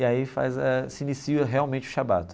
E aí faz a se inicia realmente o Shabbat.